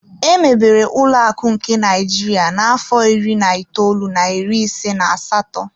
Emebere ụlọakụ nke Naịjirịa na-afọ iri na itoolu na iri ise na asatọ.